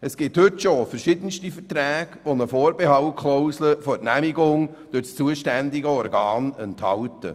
Es gibt heute schon verschiedenste Verträge, die eine Vorbehaltsklausel bezüglich der Genehmigung durch das zuständige Organ enthalten.